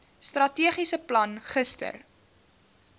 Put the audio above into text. strategiese plan gister